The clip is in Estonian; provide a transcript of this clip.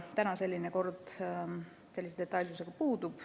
Täna selline detailne kord puudub.